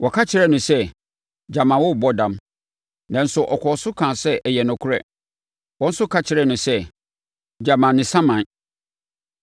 Wɔka kyerɛɛ no sɛ, “Gyama worebɔ dam.” Nanso, ɔkɔɔ so kaa sɛ ɛyɛ nokorɛ. Wɔn nso ka kyerɛɛ no sɛ, “Gyama ne saman.”